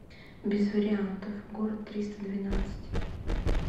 без вариантов город триста двенадцать